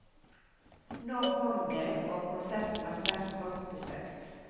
Nå kom det, og konserten var svært godt besøkt.